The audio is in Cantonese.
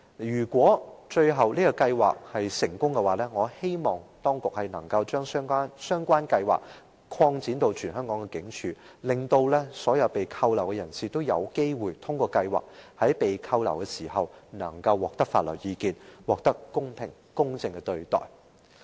如果計劃最終成功，我希望當局可以把計劃擴展至全香港所有警署，讓所有被拘留人士也有機會透過計劃，在拘留期間獲取法律意見，得到公平、公正的對待。